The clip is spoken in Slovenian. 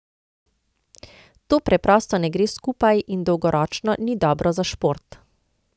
To preprosto ne gre skupaj in dolgoročno ni dobro za šport.